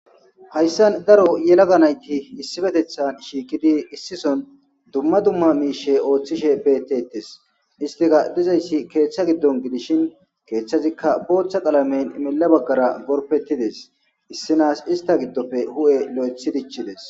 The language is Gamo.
hayssan daro yelaga nayti issipetethan shiiqidi issi son dumma dumma miishe ooththishe beettettes, istika dizayssi keeththa giddon gidishin keeththazikka booththa qalameyn imela baggara gorpettides issinaas ista giddopfe hu'e lo'ethi dichides